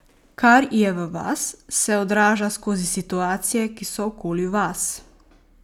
Kar je v vas, se odraža skozi situacije, ki so okoli vas.